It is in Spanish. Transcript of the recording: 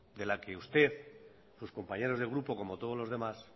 de la que usted sus compañeros de grupo como todos los demás